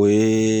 O ye